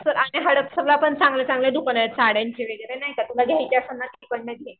आणि हडपसरला पण चांगले चांगले दुकान आहेत साड्यांचे वगैरे नाही का तुला घ्याचे असेल ना तू पण